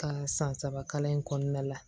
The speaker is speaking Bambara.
Ka san saba kalan in kɔnɔna la